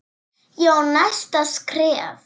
Ég á næsta skref.